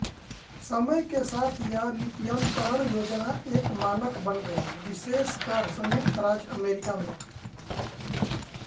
समय के साथ यह लिप्यन्तरण योजना एक मानक बन गयी विशेषकर संयुक्त राज्य अमेरिका में